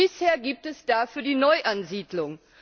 Bisher gibt es da für die Neuansiedlung.